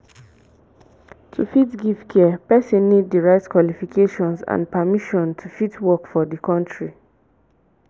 to fit give care persin need di right qualifications and permisson to fit work for di country